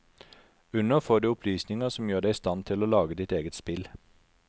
Under får du opplysninger som gjør deg i stand til å lage ditt eget spill.